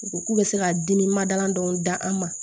U ko k'u bɛ se ka dimi mada dɔw da an ma